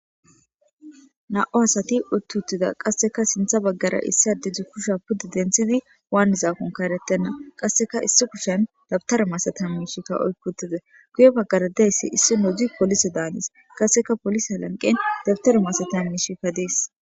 na7o asati uttuttida qasseka sintha baggara issi adedzdzu kusha pudde denthidi waan zaakonka erettenna qasseka issi kushen dabtara masetam mishikka oykkutize guye baggaradayssi issi nodzi polise daanis kasseka polise alanqen dabtaro maseta mishikka dees